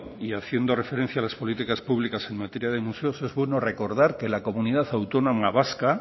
y haciendo referencia a las políticas públicas en materia de museos es bueno recordar que la comunidad autónoma vasca